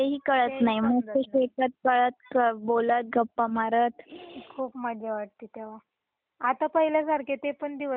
खूप मजा वाटती तेव्हा आता पाहील्या सारखे ते पण दिवस राहिले नाही गं गावाकड पण.